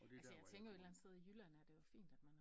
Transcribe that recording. Altså jeg tænker jo et eller andet sted i Jylland er det jo fint at man